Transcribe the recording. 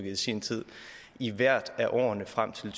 i sin tid i hvert af årene frem til